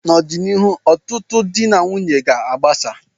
n'ọdịnihu, ọtụtụ di na nwunye ga agbasa